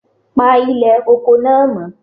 Pa ilè oko náà mọ́